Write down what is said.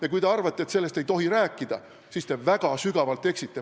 Ja kui te arvate, et sellest ei tohi rääkida, siis te eksite väga sügavalt.